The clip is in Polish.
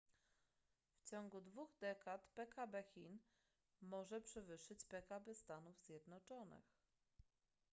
w ciągu dwóch dekad pkb chin może przewyższyć pkb stanów zjednoczonych